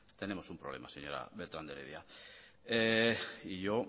tenemos un problema señora beltrán de heredia y yo